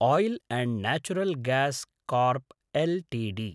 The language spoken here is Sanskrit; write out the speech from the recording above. isle and natural gas corp LTD